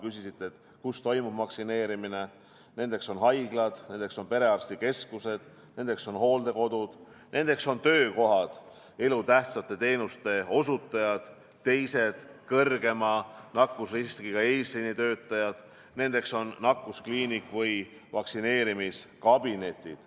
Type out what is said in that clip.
Nendeks kohtadeks on haiglad, on perearstikeskused, nendeks on hooldekodud, nendeks on töökohad , nendeks on nakkuskliinik ja vaktsineerimiskabinetid.